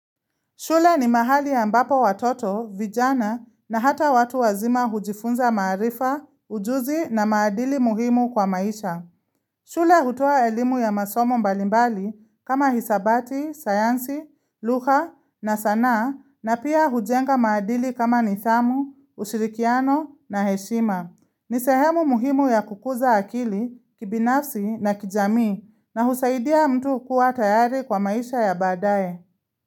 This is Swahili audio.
Shule ni mahali ambapo watoto, vijana na hata watu wazima hujifunza maarifa, ujuzi na maadili muhimu kwa maisha. Shule hutoa elimu ya masomo mbalimbali kama hisabati, sayansi, lugha na sanaa na pia hujenga maadili kama nithamu, ushirikiano na heshima. Ni sehemu muhimu ya kukuza akili, kibinafsi na kijamii na husaidia mtu kuwa tayari kwa maisha ya baadaye.